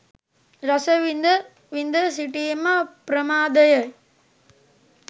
රස විඳ, විඳ සිටීම ප්‍රමාදය යි.